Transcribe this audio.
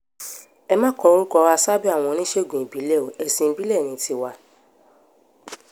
ẹ má kórúkọ wa sábẹ́ àwọn oníṣègùn ìbílẹ̀ o ẹ̀sìn ìbílẹ̀ ní tiwa